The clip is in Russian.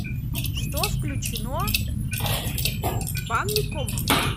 что включено в банный комплекс